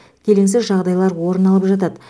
келеңсіз жағдайлар орын алып жатады